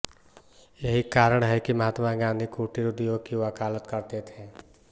यही कारण है कि महात्मा गाँधी कुटीर उद्योग की वकालत करते थे